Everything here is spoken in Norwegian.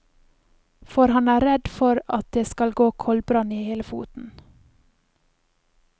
For han er redd det skal gå koldbrann i hele foten.